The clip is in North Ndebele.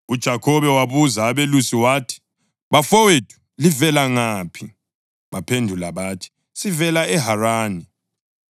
UJakhobe wabuza abelusi wathi, “Bafowethu, livela ngaphi?” Baphendula bathi, “Sivela eHarani.”